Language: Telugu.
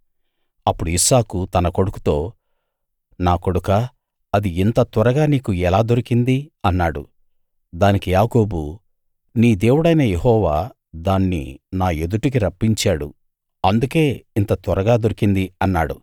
అప్పుడు ఇస్సాకు తన కొడుకుతో నా కొడుకా అది ఇంత త్వరగా నీకు ఎలా దొరికింది అన్నాడు దానికి యాకోబు నీ దేవుడైన యెహోవా దాన్ని నా ఎదుటికి రప్పించాడు అందుకే ఇంత త్వరగా దొరికింది అన్నాడు